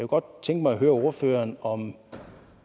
godt tænke mig at høre ordføreren om